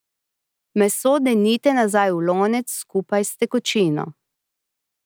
Meso denite nazaj v lonec skupaj s tekočino.